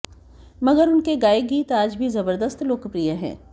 मगर उनके गाए गीत आज भी जबरदस्त लोकप्रिय हैं